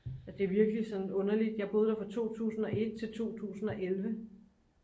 det er virkelig sådan underligt jeg boede der fra 2001 til 2011